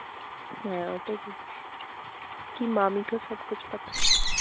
হ্যাঁ ওটাই বলছি কি Hindi মামিকো সব কুছ পাতা হ্যায়